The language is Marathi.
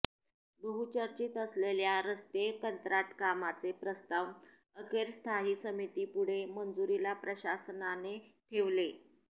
बहुचर्चित असलेल्या रस्ते कंत्राट कामांचे प्रस्ताव अखेर स्थायी समितीपुढे मंजुरीला प्रशासनाने ठेवले